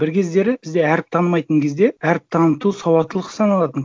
бір кездері бізде әріп танымайтын кезде әріп таныту сауаттылық саналатын